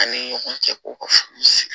An ni ɲɔgɔn cɛ ko ka furu siri